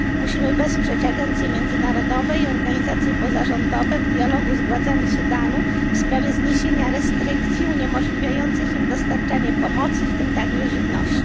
Musimy wesprzeć agencje międzynarodowe i organizacje pozarządowe w dialogu z władzami Sudanu w sprawie zniesienia restrykcji uniemożliwiających im dostarczanie pomocy, w tym także żywności.